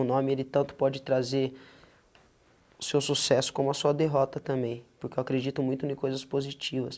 O nome, ele tanto pode trazer seu sucesso como a sua derrota também, porque eu acredito muito em coisas positivas.